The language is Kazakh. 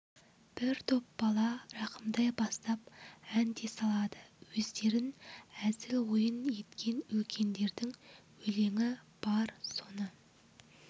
бір топ бала рахымтай бастап ән де салады өздерін әзіл ойын еткен үлкендердің өлеңі бар соны